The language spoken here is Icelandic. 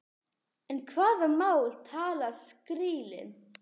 En hvaða mál talar skrílinn?